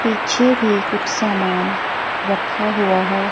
पीछे भी कुछ सामान रखा हुआ है।